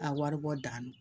A wari bɔ da